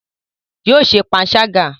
Yóò ṣe panṣágà